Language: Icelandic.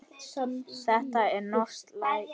Þetta er norskt læri.